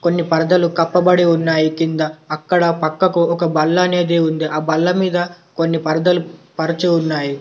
కొన్ని పరదలు కప్పబడి ఉన్నాయి కింద. అక్కడ పక్కకు ఒక బల్ల అనేది ఉంది. ఆ బల్ల మీద కొన్ని పరదలు పరచి ఉన్నాయి.